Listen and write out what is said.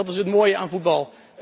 Dat is het mooie aan voetbal.